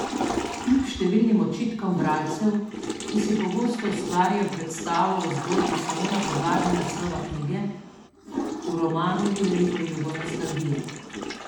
Kljub številnim očitkom bralcev, ki si pogosto ustvarijo predstavo o zgodbi samo na podlagi naslova knjige, v romanu ni veliko jugonostalgije.